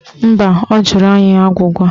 Mba, ọ jụrụ anyị agwụgwa